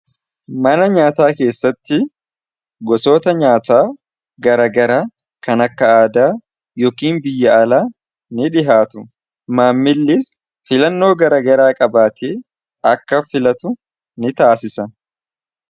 mana nyaataa keessatti gosoota nyaataa garagara kan akka aadaa yookiin biyya'ala ni dhihaatu maammillis filannoo garagaraa qabaate akka filatu ni taasisa